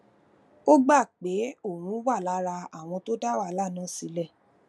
ó gbà pé òun wà lára àwọn tó dá wàhálà náà sílè